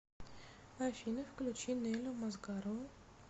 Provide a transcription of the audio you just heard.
афина включи нелю мазгарову